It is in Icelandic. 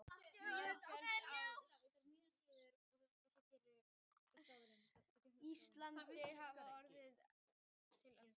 Mörg fjöll á Íslandi hafa orðið til við eldgos.